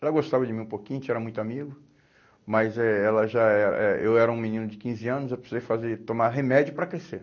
Ela gostava de mim um pouquinho, a gente era muito amigo, mas eh ela já eh eh eu era um menino de quinze anos, eu precisei fazer, tomar remédio para crescer.